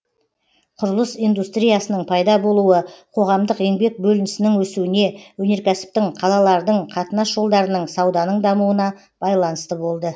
құрылыс индустриясының пайда болуы қоғамдық еңбек бөлінісінің өсуіне өнеркәсіптің қалалардың қатынас жолдарының сауданың дамуына байланысты болды